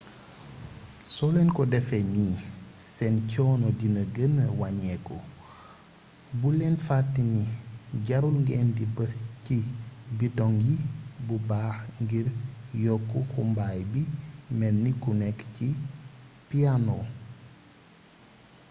soo leen ko defee nii seen coono dina gëna waññeeku bul leen fatte ni jarul ngeen di bës ci bitoŋ yi bu baax ngir yokk xumbaay bi melni ku nekk ci piyaano